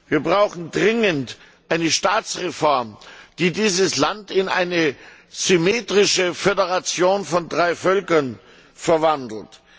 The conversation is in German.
Wir brauchen dringend eine Staatsreform, die dieses Land in eine symmetrische Föderation von drei Völkern verwandelt.